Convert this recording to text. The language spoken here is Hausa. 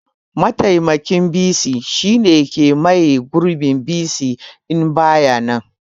Mataimakin bc shine ke maye gurbin bc in baya nan